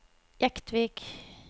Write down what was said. Jektvik